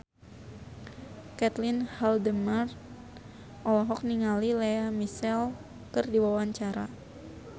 Caitlin Halderman olohok ningali Lea Michele keur diwawancara